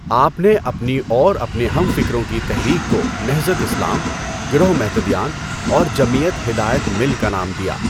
آپ نے اپنی اور اپنے ہم فکروں کی تحریک کو نہضت اسلام، گروہ مہتدیان، اور جمعیت ہدایت مل کا نام دیا۔